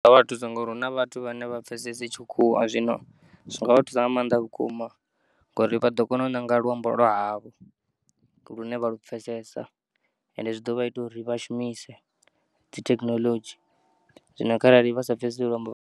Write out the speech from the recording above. Zwi ngavha thusa ngauri huna vhathu vhane a vha pfesesi tshikhuwa zwino zwingavha thusa nga maanḓa vhukuma ngauri vha ḓo kona u nanga luambo lwa havho lune vha lupfesesa ende zwi ḓo vha ita uri vha shumise dzi thekinolodzhi zwino harali vha sa pfesesi luambo lwa.